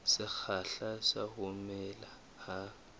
sekgahla sa ho mela ha